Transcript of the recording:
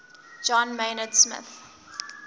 john maynard smith